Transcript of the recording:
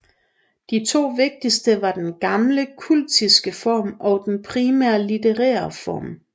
De to vigtigste var den gamle kultiske form og den primært litterære form